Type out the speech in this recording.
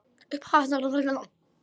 Upphaf hans er þannig